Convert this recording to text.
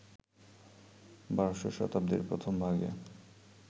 ১২শ শতাব্দীর প্রথমভাগে,